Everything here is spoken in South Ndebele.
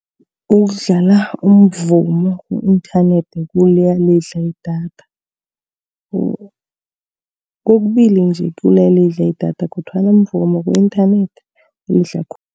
Ukudlala umvumo ku-inthanethi kuyalidla idatha. Kokubili, nje kuyalidla idatha, kodwana mvumo ku-inthanethi, kulidla khulu.